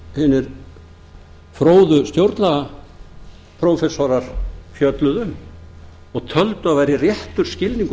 sem hinir fróðu stjórnlagaprófessorar fjölluðu um og töldu að væri réttur skilningur á